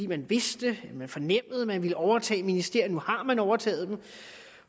man vidste eller fornemmede at man ville overtage ministerierne nu har man overtaget dem